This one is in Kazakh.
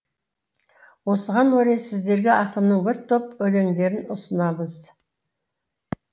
осыған орай сіздерге ақынның бір топ өлеңдерін ұсынамыз